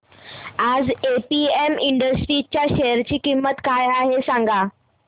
आज APM Industries च्या share ची किंमत काय आहे सांगा